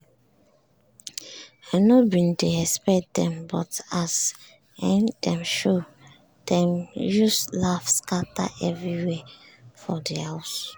i nor bin dey expect dem but as um dem show dem use laugh scatter everywhere for di house.